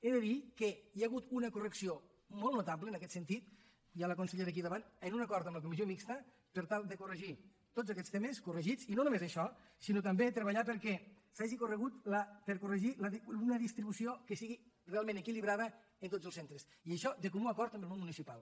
he de dir que hi ha hagut una correcció molt notable en aquest sentit hi ha la consellera aquí davant amb un acord amb la comissió mixta per tal de corregir tots aquests temes corregits i no només això sinó també treballar per corregir una distribució que sigui realment equilibrada en tots els centres i això de comú acord amb el món municipal